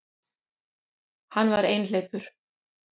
Hann var einhleypur.